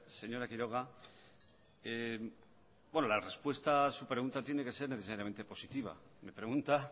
señora quiroga la respuesta a su pregunta tiene que ser necesariamente positiva me pregunta